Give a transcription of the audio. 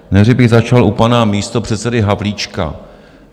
Nejdřív bych začal u pana místopředsedy Havlíčka.